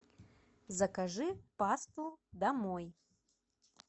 закажи пасту домой